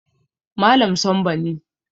Malam Sambo ne